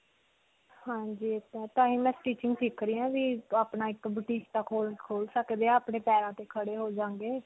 ਹਾਂਜੀ. ਇਹ ਤਾਂ ਹੈ. ਤਾਂਹੀ ਮੈਂ stitching ਸਿਖ ਰਹੀ ਹਾਂ ਵੀ ਅਪਣਾ ਇੱਕ boutique ਜਿਹਾ ਖੋਲ, ਖੋਲ ਸਕਦੇ ਹਾਂ. ਆਪਣੇ ਪੈਰਾਂ ਤੇ ਖੜੇ ਹੋ ਜਾਵਾਂਗੇ.